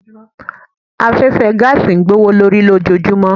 Afẹ́fẹ́ gáàsì ń gbówó lórí lójojúmọ́.